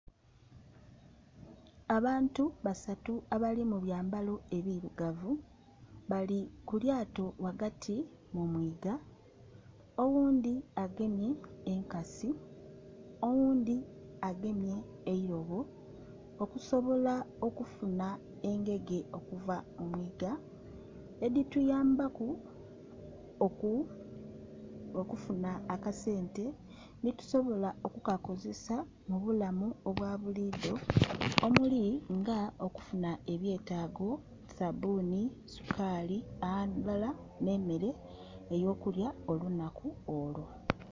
Abantu basatu abali mu byambalo ebirugavu bali mu lyaato ghagati mu mwiga, oghundhi agemye enkasi, oghundhi agemye eirobo okusobola okufunha engege okuva mu mwiga edhituyambaku okufunha akasente nhi tusobola okukakozesa mu bulamu obwa bulidho, omuli nga okufunha ebyetaago sabbuni, sukali aghalala nhe emere eyokulya olunhaku olwo.